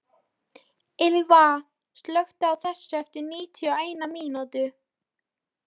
Ylva, slökktu á þessu eftir níutíu og eina mínútur.